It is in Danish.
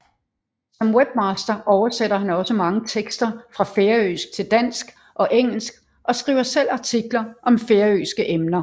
Som webmaster oversætter han også mange tekster fra færøsk til dansk og engelsk og skriver selv artikler om færøske emner